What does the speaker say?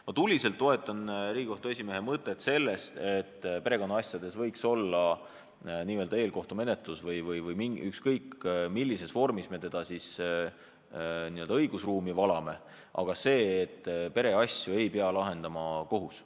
Ma toetan tuliselt Riigikohtu esimehe mõtet, et perekonnaasjades võiks olla n-ö eelkohtumenetlus , perekonnaasju ei pea lahendama kohus.